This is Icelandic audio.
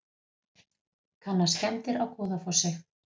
Kanna skemmdir á Goðafossi